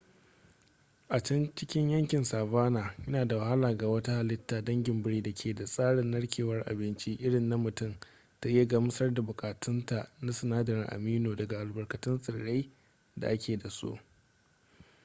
a can cikin yankin savanna yana da wahala ga wata halitta dangin biri da ke da tsarin narkewar abinci irin na mutum ta iya gamsar da buƙatunta na sinadarin amino daga albarkatun tsirrai da ake da su